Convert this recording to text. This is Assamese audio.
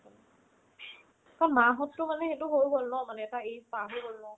ক, মা হততো মানে সেইটো হয় হ'ল ন মানে এটা age পাৰ হৈ গ'ল ন